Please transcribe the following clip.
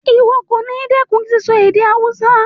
Ìwo kòní dẹ́kun síso èdè Hausa